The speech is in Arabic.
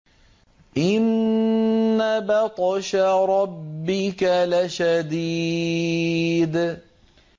إِنَّ بَطْشَ رَبِّكَ لَشَدِيدٌ